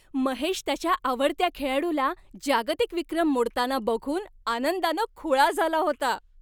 महेश त्याच्या आवडत्या खेळाडूला जागतिक विक्रम मोडताना बघून आनंदानं खुळा झाला होता.